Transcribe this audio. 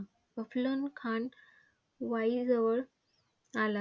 अफझल खान वाईजवळ आला.